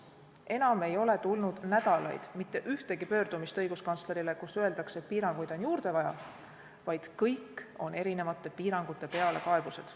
Enam ei ole tulnud nädalaid mitte ühtegi pöördumist õiguskantslerile, kus öeldaks, et piiranguid on juurde vaja, vaid kõik on kaebused erinevate piirangute pärast.